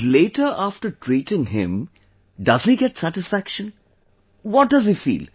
And later after treating him, does he get satisfaction... what does he feel